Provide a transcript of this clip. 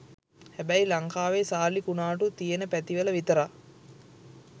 හැබැයි ලංකාවේ සාලි කුනාටු තියෙන පැතිවල විතරක්